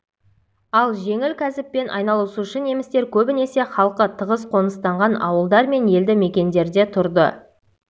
ал жеңіл кәсіппен айналысушы немістер көбінесе халқы тығыз қоныстанған ауылдар мен елді-мекендерде тұрды